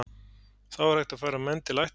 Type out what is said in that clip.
Þá er hægt að færa menn til ættar.